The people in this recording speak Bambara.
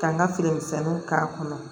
Ka n ka fini misɛnninw k'a kɔnɔ